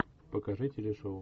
покажи телешоу